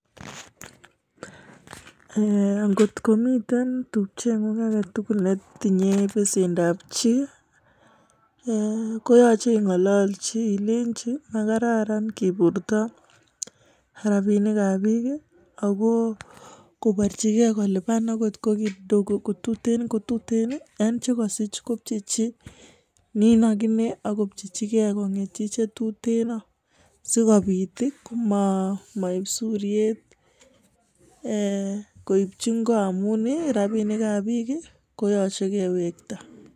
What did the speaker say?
Ngot kotemiten n tupchen' yung netinxoi besendab chii koyachei ing'alolji ilenji makararan keburta rabinik ab bik, ako kobarjikei kolipan akot ko kidogo kotuteen kotuteen, en che kasich kop chechi nin agine ak kopchechigei kon' getchi chetuteen sikomabit komaib suryet. Koip hi ingo amun rabinik ab bik koyachei kewekta.